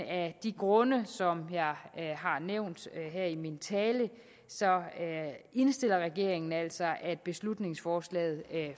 af de grunde som jeg har nævnt her i min tale indstiller regeringen altså at beslutningsforslaget